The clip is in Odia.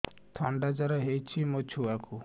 ଥଣ୍ଡା ଜର ହେଇଚି ମୋ ଛୁଆକୁ